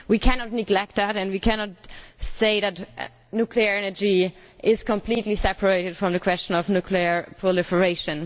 We cannot neglect that, and we cannot say that nuclear energy is completely separate from the question of nuclear proliferation.